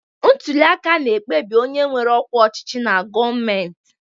Ntuli aka na-ekpebi onye nwere ọkwa ọchịchị na gọọmentị.